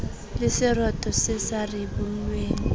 le seroto se sa ribollweng